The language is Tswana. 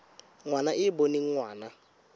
ngwana e e boneng ngwana